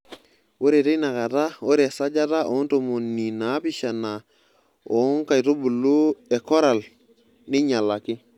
Ore teina kata ore esajata oontomoni naapishana oo nkaitubulu e koral neinyalaki.